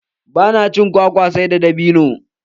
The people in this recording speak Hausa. Ba na cin kwakwa sai da dabinu.